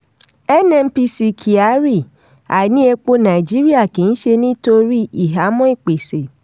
nnpc kyari: àìní epo nàìjíríà kì í ṣe nítorí ìhámọ́ ìpèsè.